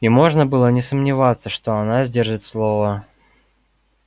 и можно было не сомневаться что она сдержит слово